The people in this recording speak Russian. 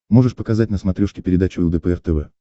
можешь показать на смотрешке передачу лдпр тв